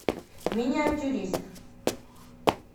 миниатюрист